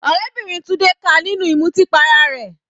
Ọ̀rẹ́bìnrin Tunde ká a nínú ìmutí para rẹ̀.